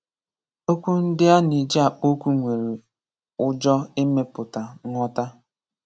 Okwu ndị a na-eji akpọ̀ okwu nwere ụjọ̀ imeputa nghọtá.